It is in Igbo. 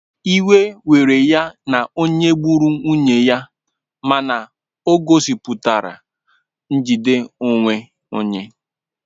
Iwe were ya na onye gburu nwunye ya mana o gosipụtara njide onwe onye.